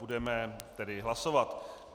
Budeme tedy hlasovat.